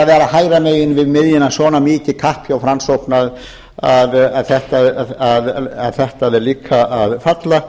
vera hægra megin við miðjuna svona mikið kapp hjá framsókn að þetta er líka að falla